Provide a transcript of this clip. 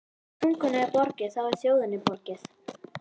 Ef tungunni er borgið, þá er þjóðinni borgið.